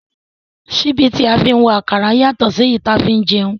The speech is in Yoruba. Síbí tí a fi ń wa àkàrà yàtọ̀ sí èyí tí a fi ń jẹun